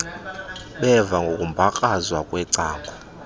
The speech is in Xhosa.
beva ngokumbakrazwa kwecango